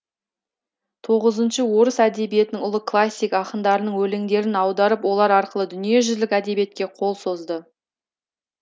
тоғызыншы орыс әдебиетінің ұлы классик ақындарының өлеңдерін аударып олар арқылы дүниежүзілік әдебиетке қол созды